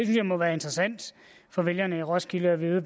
jeg må være interessant for vælgerne i roskilde at vide